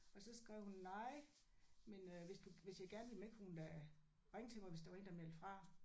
Og så skrev hun nej men øh hvis du hvis jeg gerne ville med kunne hun da ringe til mig hvis der var en der meldte fra